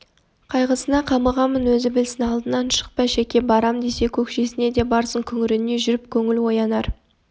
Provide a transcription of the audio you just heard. қайғысына қамығамын өзі білсін алдынан шықпа шәке барам десе көкшесіне де барсын күңірене жүрп көңл оянар